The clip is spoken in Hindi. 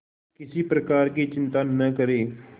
किसी प्रकार की चिंता न करें